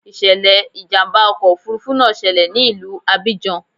Ìṣẹ̀lẹ̀ ìjàmbá ọkọ̀ òfuurufú náà ṣẹlẹ̀ ní ìlú Abidjan.